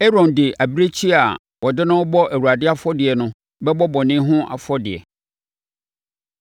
Aaron de abirekyie a wɔde no rebɛbɔ Awurade afɔdeɛ no bɛbɔ bɔne ho afɔdeɛ.